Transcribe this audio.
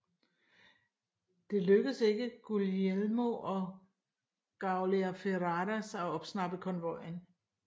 Det lykkedes ikke Guglielmo og Gauleo Ferraras at opsnappe konvojen